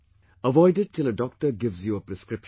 Avoid it till a doctor gives you a prescription